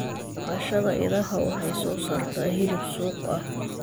Dhaqashada idaha waxay soo saartaa hilib suuq ah.